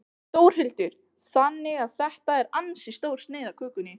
Þórhildur: Þannig að þetta er ansi stór sneið af kökunni?